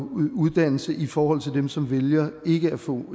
uddannelse i forhold til dem som vælger ikke at få